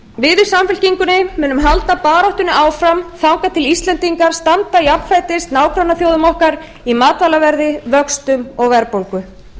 við í samfylkingunni munum halda baráttunni áfram þangað til að íslendingar standa jafnfætis nágrannaþjóðum okkar í matvælaverði vöxtum og verðbólgu